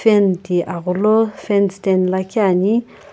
ana ti aghulo fan liikhi ani.